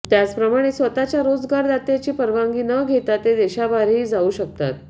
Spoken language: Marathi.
त्याचप्रमाणे स्वतःच्या रोजगारदात्याची परवानगी न घेता ते देशाबाहेरही जाऊ शकतात